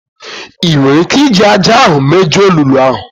Ị nwere ike iji ájá ahụ mejuo olulu ahụ?